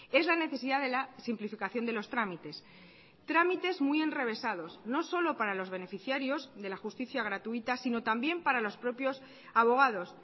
es la necesidad de la simplificación de los trámites trámites muy enrevesados no solo para los beneficiarios de la justicia gratuita sino también para los propios abogados